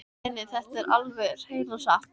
Nei, nei, þetta er alveg hreina satt!